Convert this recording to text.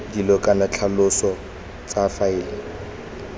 dilo kana ditlhaloso tsa faele